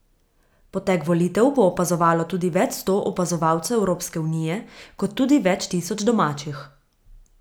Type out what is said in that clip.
Potek volitev bo opazovalo tudi več sto opazovalcev Evropske unije, kot tudi več tisoč domačih.